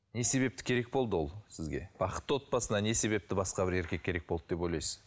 не себепті керек болды ол сізге бақытты отбасына не себепті басқа бір еркек керек болды деп ойлайсыз